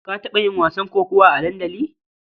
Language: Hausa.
Ka taɓa yin wasan kokawa a dandali?